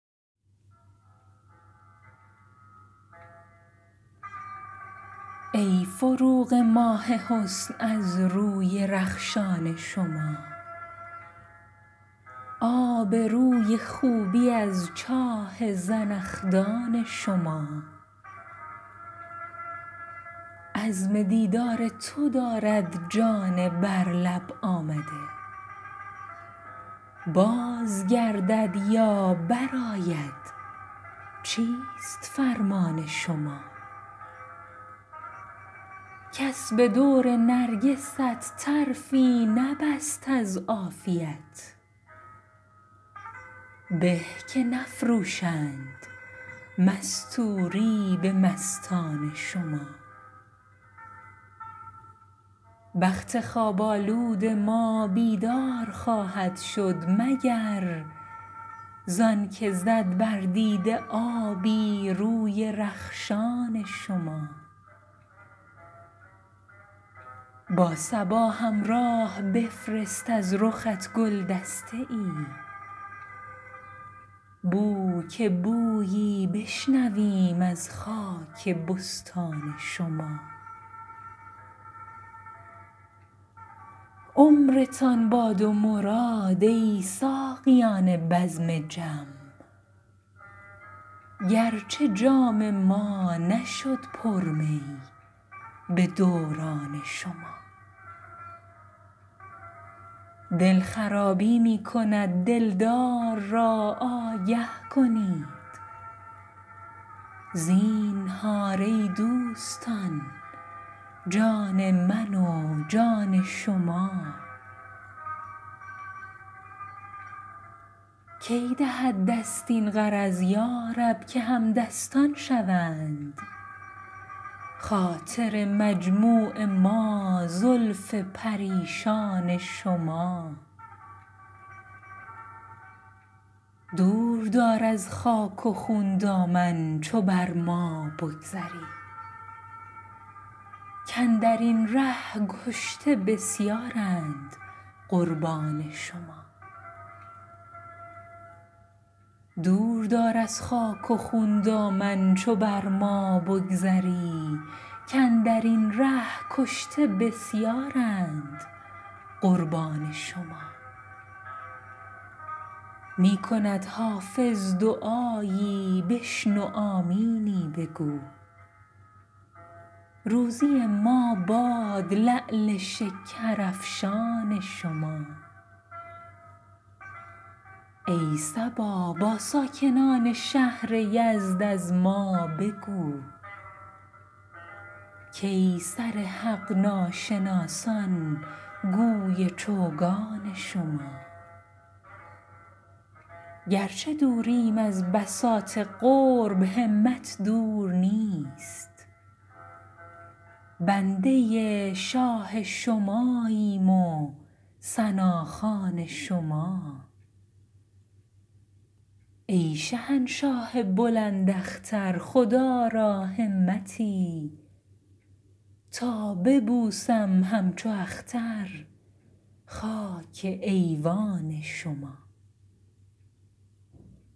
ای فروغ ماه حسن از روی رخشان شما آب روی خوبی از چاه زنخدان شما عزم دیدار تو دارد جان بر لب آمده باز گردد یا برآید چیست فرمان شما کس به دور نرگست طرفی نبست از عافیت به که نفروشند مستوری به مستان شما بخت خواب آلود ما بیدار خواهد شد مگر زان که زد بر دیده آبی روی رخشان شما با صبا همراه بفرست از رخت گل دسته ای بو که بویی بشنویم از خاک بستان شما عمرتان باد و مراد ای ساقیان بزم جم گرچه جام ما نشد پر می به دوران شما دل خرابی می کند دلدار را آگه کنید زینهار ای دوستان جان من و جان شما کی دهد دست این غرض یا رب که همدستان شوند خاطر مجموع ما زلف پریشان شما دور دار از خاک و خون دامن چو بر ما بگذری کاندر این ره کشته بسیارند قربان شما می کند حافظ دعایی بشنو آمینی بگو روزی ما باد لعل شکرافشان شما ای صبا با ساکنان شهر یزد از ما بگو کای سر حق ناشناسان گوی چوگان شما گرچه دوریم از بساط قرب همت دور نیست بنده شاه شماییم و ثناخوان شما ای شهنشاه بلند اختر خدا را همتی تا ببوسم همچو اختر خاک ایوان شما